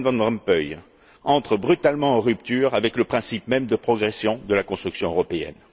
Herman Van Rompuy entrent brutalement en rupture avec le principe même de progression de la construction européenne.